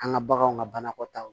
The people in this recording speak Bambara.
An ka baganw ŋa banakɔtaw